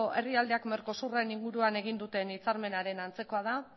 herrialdeak mercosur en inguruan egun duten hitzarmenaren antzekoa da